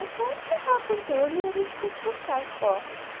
Até ferrar com tudo e a gente ter que fechar as portas.